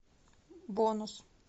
бонус